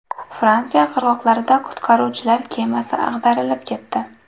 Fransiya qirg‘oqlarida qutqaruvchilar kemasi ag‘darilib ketdi.